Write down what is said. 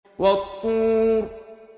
وَالطُّورِ